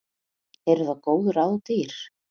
Eru þá góð ráð dýr.